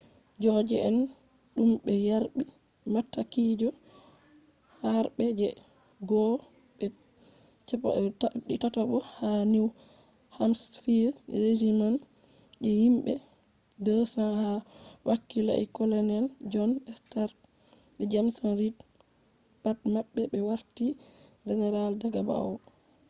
soja’en dum be yarbi matakije harbe je 1st be 3rd ha new hampshire regiments je himbe 200 ha wakilai colonels john stark be james reed pat mabbe be warti generals daga ba’wo